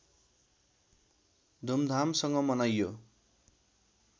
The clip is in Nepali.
धुमधामसँग मनाइयो